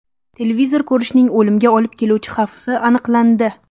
Televizor ko‘rishning o‘limga olib keluvchi xavfi aniqlandi.